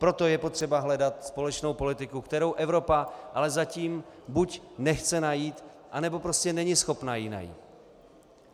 Proto je potřeba hledat společnou politiku, kterou Evropa ale zatím buď nechce najít, anebo prostě není schopna ji najít.